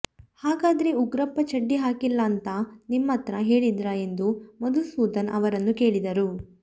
ಹಾಗಾದ್ರೆ ಉಗ್ರಪ್ಪ ಚಡ್ಡಿ ಹಾಕಿಲ್ಲಾಂತ ನಿಮ್ಮತ್ರ ಹೇಳಿದ್ರಾ ಎಂದು ಮಧುಸೂಧನ್ ಅವರನ್ನು ಕೇಳಿದರು